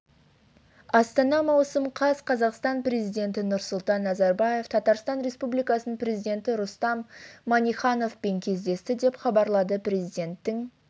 астана маусым қаз қазақстан президенті нұрсұлтан назарбаев татарстан республикасының президенті рустам миннихановпен кездесті деп хабарлады президентінің